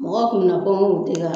Mɔgɔw kun be na ko n kun deg'a